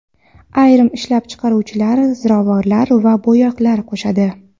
Ayrim ishlab chiqaruvchilar ziravorlar va bo‘yoqlar qo‘shadi.